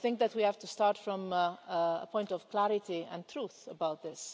We have to start from a point of clarity and truth about this.